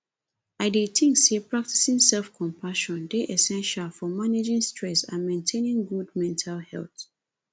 i dey think say practicing selfcompassion dey essential for managing stress and maintaining good mental health